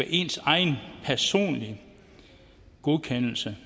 ens egen personlige godkendelse